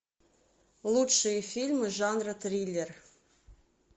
лучшие фильмы жанра триллер